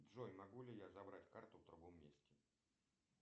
джой могу ли я забрать карту в другом месте